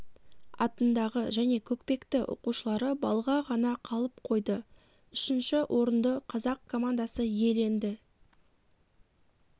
атындағы және көкпекті оқушылары балға ғана қалып қойды үшінші орынды қазақ командасы иеленді